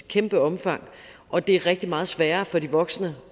kæmpe omfang og det er rigtig meget sværere for de voksne